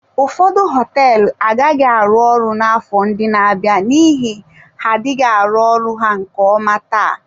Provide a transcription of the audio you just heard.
Ụfọdụ họteelụ agaghị arụ ọrụ n'afọ ndị na-abịa n'ihi ha adịghị arụ ọrụ ha nke ọma taa.